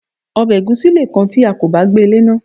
Obè ègúsí leè kan ti a kò bá gbée léná